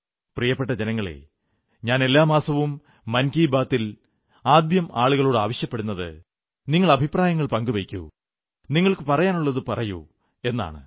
പ്രിയപ്പെട്ട ജനങ്ങളേ ഞാൻ എല്ലാ മാസവും മൻകീ ബാത്തിൽ ആദ്യം ആളുകളോട് ആവശ്യപ്പെടുന്നത് നിങ്ങൾ അഭിപ്രായങ്ങൾ പങ്കുവയ്ക്കൂ നിങ്ങൾക്കു പറയാനുള്ളതു പറയൂ എന്നാണ്